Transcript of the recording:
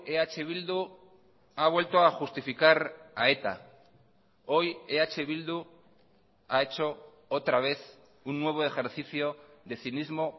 eh bildu ha vuelto a justificar a eta hoy eh bildu ha hecho otra vez un nuevo ejercicio de cinismo